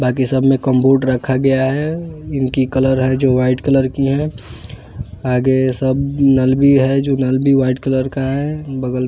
बाकी सब में कंप्यूटर रखा गया है इनकी कलर है जो वाइट कलर की है आगे सब नल भी है जो नल भी व्हाइट कलर का है बगल--